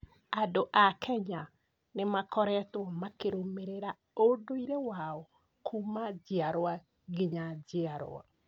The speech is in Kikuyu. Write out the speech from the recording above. Andũ a Kenya nĩ makoretwo makĩrũmĩrĩra ũndũire wao kuuma njiarwa nginya njiarwa.